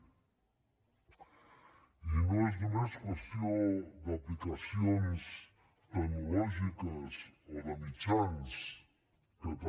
i no és només qüestió d’aplicacions tecnològiques o de mitjans que també